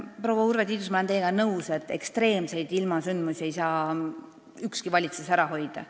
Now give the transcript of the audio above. Proua Urve Tiidus, ma olen teiega nõus, et ekstreemseid ilmasündmusi ei saa ükski valitsus ära hoida.